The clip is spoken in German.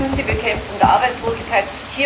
Viertens die Bekämpfung der Arbeitslosigkeit.